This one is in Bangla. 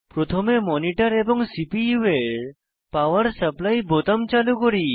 প্রথমে মনিটর এবং সিপিইউ এর পাওয়ার সাপ্লাই বোতাম চালু করি